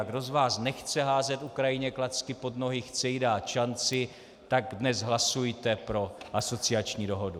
A kdo z vás nechce házet Ukrajině klacky pod nohy, chce jí dát šanci, tak dnes hlasujte pro asociační dohodu.